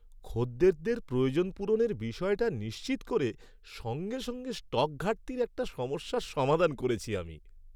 খদ্দেরদের প্রয়োজন পূরণের বিষয়টা নিশ্চিত করে সঙ্গে সঙ্গে স্টক ঘাটতির একটা সমস্যার সমাধান করেছি আমি।